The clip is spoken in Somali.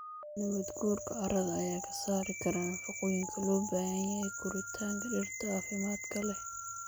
Nabaad guurka carrada ayaa ka saari kara nafaqooyinka loo baahan yahay koritaanka dhirta caafimaadka leh.